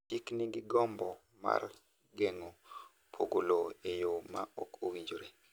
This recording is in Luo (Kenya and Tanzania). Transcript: Chik nigi gombo mar geng’o pogo lowo e yo ma ok owinjore.